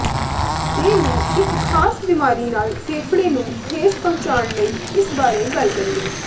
ਦੇ ਨੂੰ ਇੱਕ ਖਾਸ ਬਿਮਾਰੀ ਨਾਲ ਫੇਫੜੇ ਨੂੰ ਠੇਸ ਪਹੁੰਚਾਉਣ ਲਈ ਇਸ ਬਾਰੇ ਗੱਲ ਕਰੀਏ